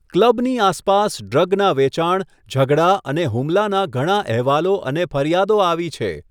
ક્લબની આસપાસ ડ્રગના વેચાણ, ઝઘડા અને હુમલાના ઘણા અહેવાલો અને ફરિયાદો આવી છે.